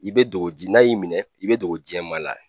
I bɛ dogo di n'a y'i minɛ i bɛ dogo diɲɛ maa la.